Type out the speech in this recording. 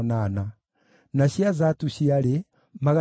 na njiaro cia Bigivai ciarĩ 2,067